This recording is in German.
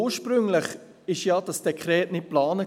Ursprünglich war ja dieses Dekret nicht geplant.